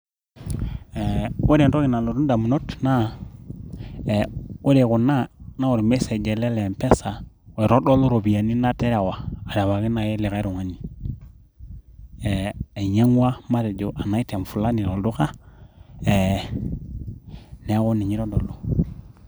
Ore entoki nalotu ndamunot naa, ore kuna naa olmesej ele le Mpesa oitodolu ropiyiani naterewa arewaki naai likai tung'ani ainyang'ua matejo an item fulani tolduka neeku ninye eitodolu.